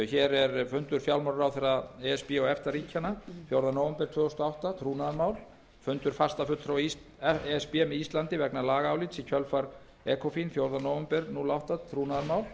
hér er fundur fjármálaráðherra e s b og efta ríkjanna fjórða nóvember tvö þúsund og átta trúnaðarmál fundur fastafulltrúa e s b með íslandi vegna lagaálits í kjölfar ecofin fjórða nóvember tvö þúsund og átta trúnaðarmál